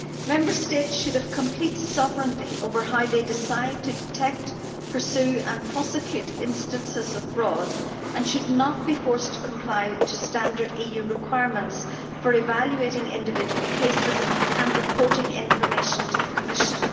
Member States should have complete sovereignty over how they decide to detect, pursue and prosecute instances of fraud and should not be forced to comply with standard EU requirements for evaluating individual cases and reporting information to the Commission.